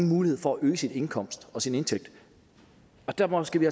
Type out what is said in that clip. mulighed for at øge sin indkomst og sin indtægt derfor skal vi